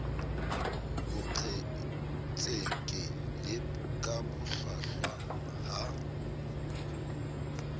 boqhetseke le ka bohlwahlwa ha